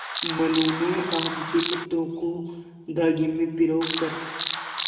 मनु ने आम के पत्तों को धागे में पिरो कर